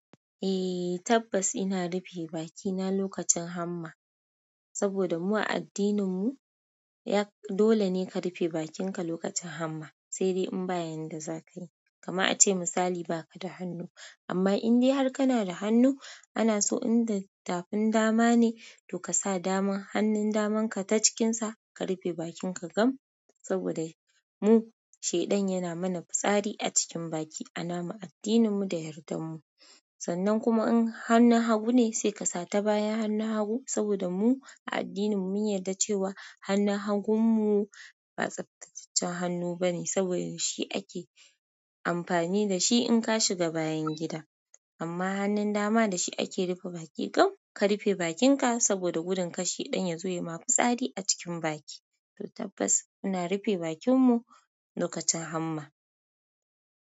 Eh tabbas ina rufe bakina lokacin hamma, saboda mu a addinin mu dole ne ka rufe bakinka lokacin hamma, sai dai in ba yanda zaka yi. Kaman ace misali ba ka da hannu, amma in dai har kana da hannu ana so in da tafin dama ne to ka sa dama hannun daman ka ta cikinsa ka rufe bakin ka gam. Saboda mu shaiɗan yana mana fitsari a cikin baki a namu addinin mu da yardar mu. Sannan kuma in hannun hagu ne, sai ƙasa ta bayan hannun hagu. Saboda mu a addinin mu mun yarda cewa hannun hagun mu, ba tsabtatacce hannu bane saboda shi ake amfani dashi in ka shiga bayan gida. Amma hannun dama da shi ake rufe baki gam ka rufe bakin ka saboda gudun kar shaiɗan ya zo ya yi ma fitsari a cikin baki. To tabbas muna rufe bakin mu lokacin hamma.